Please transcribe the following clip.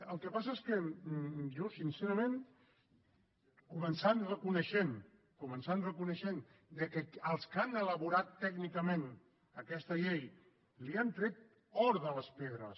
el que passa és que jo sincerament començant per reconèixer començant per reconèixer que els que han elaborat tècnicament aquesta llei han tret or de les pedres